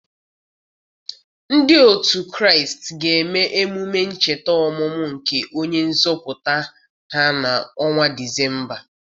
Ndị otu Kraịst ga-eme emume ncheta ọmụmụ nke onye nzọpụta ha na ọnwa Disemba.